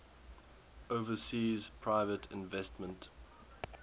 overseas private investment